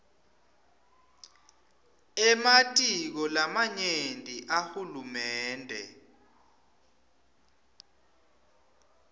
ematiko lamanyenti ahulumende